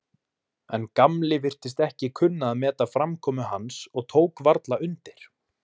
En Gamli virtist ekki kunna að meta framkomu hans og tók varla undir.